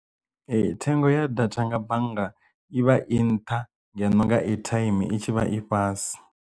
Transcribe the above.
Ee thengo ya data nga bannga i vha i nṱha ngeno nga airtime i tshi vha i fhasi.